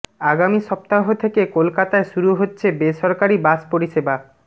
আগামী সপ্তাহ থেকে কলকাতায় শুরু হচ্ছে বেসরকারি বাস পরিষেবা